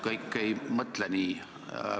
Kõik ei mõtle nii.